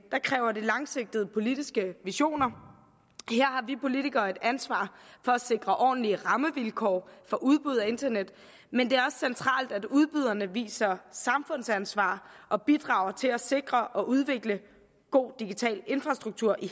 kræver det langsigtede politiske visioner her har vi politikere et ansvar for at sikre ordentlige rammevilkår for udbud af internet men det er centralt at udbyderne viser samfundsansvar og bidrager til at sikre og udvikle god digital infrastruktur i